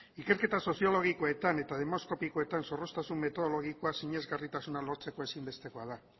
ikerketa soziologikoetan eta demoskopikoetan zorroztasun metodologikoa sinesgarritasuna lortzeko ezinbestekoa da